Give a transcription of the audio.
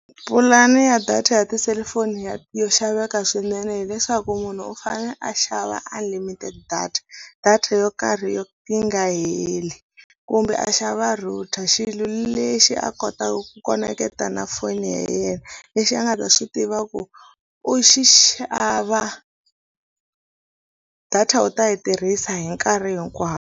Pulani ya data ya tiselifoni yo xaveka swinene hileswaku munhu u fane a xava a unlimited data data yo karhi yo yi nga heli kumbe a xava router xilo lexi a kotaka ku koneketa na foni ya yena lexi a nga ta swi tiva ku u xi xava data u ta yi tirhisa hi nkarhi hinkwawo.